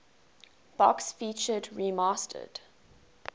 box featured remastered